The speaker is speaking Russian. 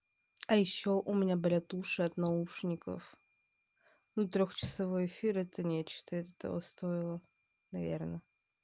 а ещё у меня болят уши от наушников ну трехчасовой эфир это нечто это того стоило наверное